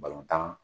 Balontan